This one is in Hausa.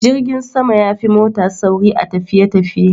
Jirgin sama yafi mota sauri a tafiye tafiye